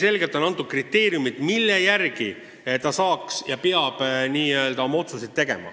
On hästi kindlad kriteeriumid, mille alusel Elering peab oma otsused tegema.